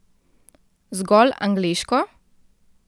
Zgolj angleško?